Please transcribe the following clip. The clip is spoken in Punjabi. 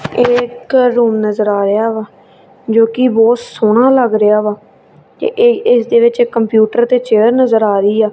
ਇਹ ਇੱਕ ਰੂਮ ਨਜ਼ਰ ਆ ਰਿਹਾ ਵਾ ਜੋਕਿ ਬਹੁਤ ਸੋਹਣਾ ਲੱਗ ਰਿਹਾ ਵਾ ਤੇ ਇਹ ਇੱਸ ਦੇ ਵਿੱਚ ਇੱਕ ਕੰਪਿਊਟਰ ਤੇ ਚੇਅਰ ਨਜ਼ਰ ਆ ਰਹੀ ਆ।